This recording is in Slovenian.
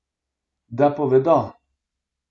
Da povedo.